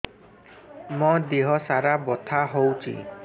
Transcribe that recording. ମୋ ଦିହସାରା ବଥା ହଉଚି